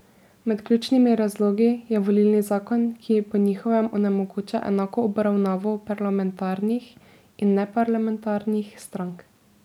Med ključnimi razlogi je volilni zakon, ki po njihovem onemogoča enako obravnavo parlamentarnih in neparlamentarnih strank.